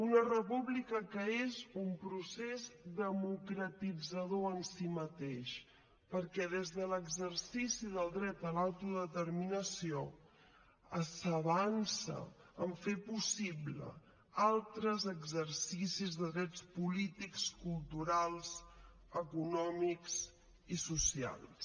una república que és un procés democratitzador en si mateix perquè des de l’exercici del dret a l’autodeterminació s’avança en fer possibles altres exercicis de drets polítics culturals econòmics i socials